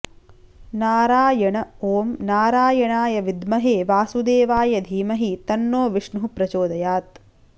नारायण ॐ नारायणाय विद्महे वासुदेवाय धीमहि तन्नो विष्णुः प्रचोदयात्